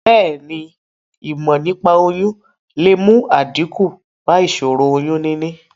Bèéni, ìmò nípaa oyún le mu àdíkù ba ìsòro oyún níní